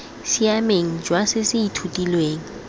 siameng jwa se se ithutilweng